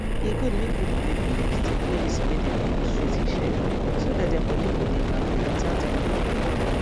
e good make people wey be nurse take medicine wey dem dey use treat hiv so that their body go dey kampe without any wahala